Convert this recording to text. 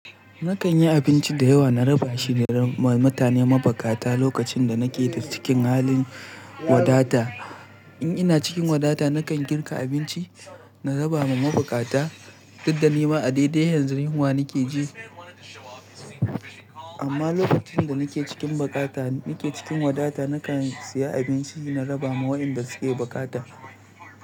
Nakan yi abinci da yawa na raba shi ma mutane mabakata lokacin da nake da cikin halin wadata. In ina cikin wadata, nakan girka abinci na raba ma mabakata, duk da nima a daidai hanyar rayuwa nake ji. Amma lokacin da nake cikin bakata, nake cikin wadata, nakan siya abinci na raba ma waɗanda suke bakata.